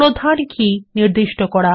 প্রধান কী নির্দিষ্ট করা